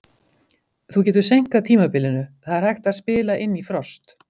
Þú getur seinkað tímabilinu, það er hægt að spila inn í frost.